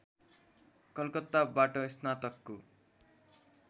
कलकत्ताबाट स्नातकको